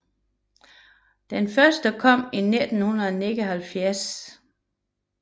Den første kom i 1979 med Harnoncourt og Oper Zürich